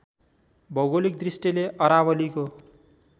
भौगोलिक दृष्टिले अरावलीको